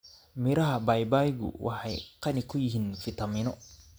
Miraha babaygu waxay qani ku yihiin fiitamiino.